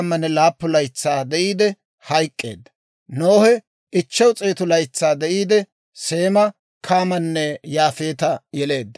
Nohe 500 laytsaa de'iide, Seema, Kaamanne Yaafeeta yeleedda.